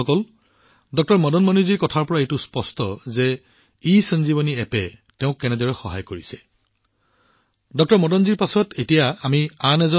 বন্ধুসকল ইসঞ্জীৱনী এপে তেওঁলোকক কেনেদৰে সহায় কৰিছে ডাঃ মদন মণিৰ কথাৰ পৰা এইটো স্পষ্ট